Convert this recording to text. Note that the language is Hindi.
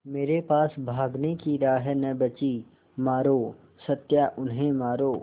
मेरे पास भागने की राह न बची मारो सत्या उन्हें मारो